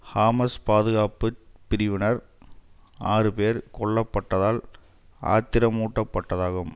Hamas பாதுகாப்பு பிரிவினர் ஆறு பேர் கொல்லப்பட்டதால் ஆத்திரமூட்டப்பட்டதாகும்